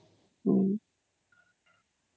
noise